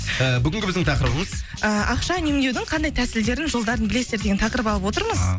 ііі бүгінгі біздің тақырыбымыз а ақша үнемдеудің қандай тәсілдерін жолдарын білесіздер деген тақырып алып отырмыз а